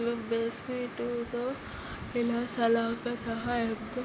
పైన basement తో విలాసాల యొక్క సహాయాలతో --